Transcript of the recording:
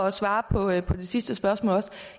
at svare på det sidste spørgsmål vil